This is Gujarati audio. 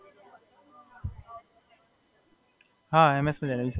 ના, હમણાં તો શાંતિ છે. હમણાં તો ઘરે જઈને થોડો ટાઇમ પાસ કરીને પછી સૂઈ જાઈસ બસ બીજું તો કઈ છે નહીં.